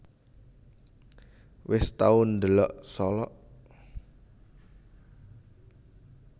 Wes tau ndelok Solok?